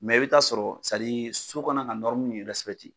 i bi t'a sɔrɔ so kan ka mun